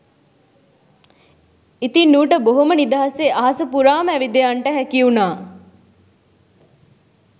ඉතිං ඌට බොහොම නිදහසේ අහස පුරාම ඇවිද යන්ට හැකි වුණා